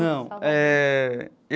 Não eh.